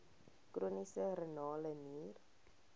chroniese renale nier